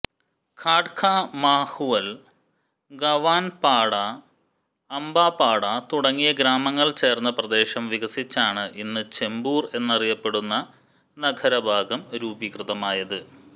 ഘാട്ട്ലാ മാഹുൽ ഗാവൻപാഡ അംബാപാഡ തുടങ്ങിയ ഗ്രാമങ്ങൾ ചേർന്ന പ്രദേശം വികസിച്ചാണ് ഇന്ന് ചെമ്പൂർ എന്നറിയപ്പെടുന്ന നഗരഭാഗം രൂപീകൃതമായത്